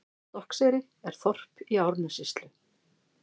Stokkseyri er þorp í Árnessýslu.